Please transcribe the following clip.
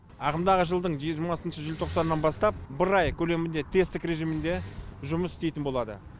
ағымдағы жылдың жиырмасыншы желтоқсанынан бастап бір ай көлемінде тесттік режимінде жұмыс істейтін болады